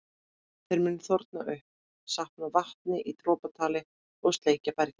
Þeir munu þorna upp, safna vatni í dropatali og sleikja bergið.